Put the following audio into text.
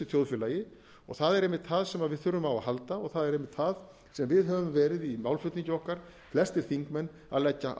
þjóðfélagi það er einmitt það sem við þurfum á að halda og það er einmitt það sem við höfum verið í málflutningi okkar flestir þingmenn að leggja